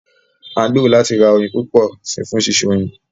À ń gbèrò láti ra oyin púpọ̀ si fún ṣíṣe oyin